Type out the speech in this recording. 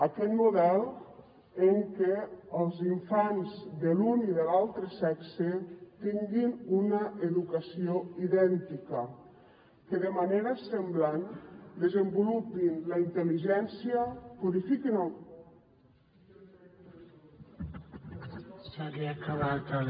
aquell model en què els infants de l’un i de l’altre sexe tinguin una educació idèntica que de manera semblant desenvolupin la intelligència purifiquin el